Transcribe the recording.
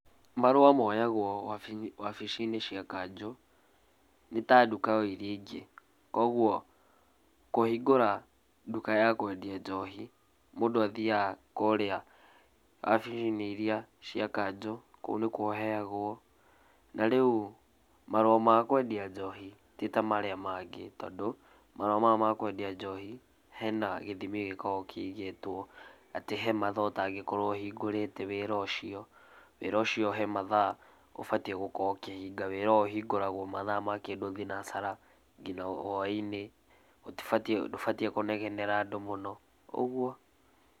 Marũa moyagũo wabici-inĩ cia kanjũ, nĩ ta nduka o iria ingĩ. Kuoguo kũhingura nduka ya kwendia njohi, mũndũ athiaga kũrĩa wabici-inĩ iria cia kanjũ, kũu nĩkuo ũheyagũo, na rĩu marũa ma kwendia njohi ti tamarũa marĩa mangĩ, tondũ marũa maya ma kwendia njohi, hena gĩthimi gĩkoragwo kĩigĩtwo atĩ he mathaa ũtangĩkorwo ũhingũrĩte wĩra ũcio, wĩra ũcio he mathaa ũbatiĩ gũkorwo ũkĩhinga. Wĩra ũyũ ũhingũragwo mathaa ma kĩndũ thinacara ngina whainĩ, gũtibatiĩ ndũbatiĩ kũnegenera andũ mũno ũgũo.